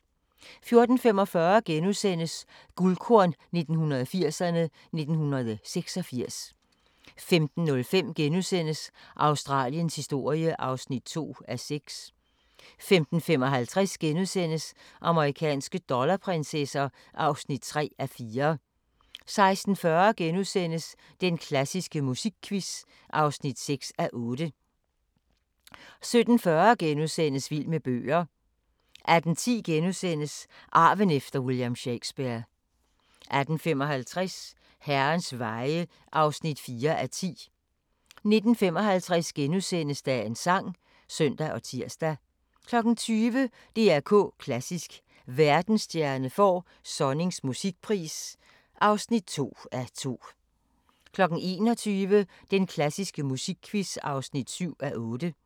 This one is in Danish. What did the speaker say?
14:45: Guldkorn 1980'erne: 1986 * 15:05: Australiens historie (2:6)* 15:55: Amerikanske dollarprinsesser (3:4)* 16:40: Den klassiske musikquiz (6:8)* 17:40: Vild med bøger * 18:10: Arven efter William Shakespeare * 18:55: Herrens veje (4:10) 19:55: Dagens sang *(søn og tir) 20:00: DR K Klassisk: Verdensstjerne får Sonnings musikpris (2:2) 21:00: Den klassiske musikquiz (7:8)